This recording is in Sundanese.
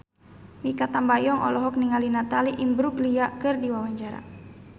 Mikha Tambayong olohok ningali Natalie Imbruglia keur diwawancara